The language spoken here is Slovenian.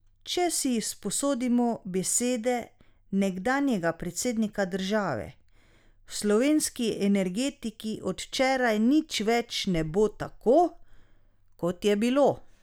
Če si izposodimo besede nekdanjega predsednika države, v slovenski energetiki od včeraj nič več ne bo tako, kot je bilo.